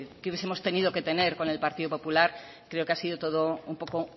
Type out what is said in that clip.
que hubiesemos tenido que tener con el partido popular creo que ha sido todo un poco